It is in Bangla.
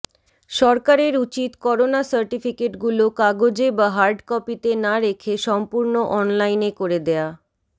সরকারের উচিত করোনা সার্টিফিকেটগুলো কাগজে বা হার্ডকপিতে না রেখে সম্পূর্ণ অনলাইনে করে দেয়া